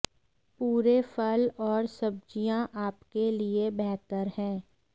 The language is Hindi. पूरे फल और सब्जियां आपके लिए बेहतर हैं